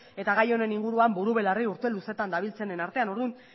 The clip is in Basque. eta gai honen inguruan buru belarri urte luzetan dabiltzanen artean orduan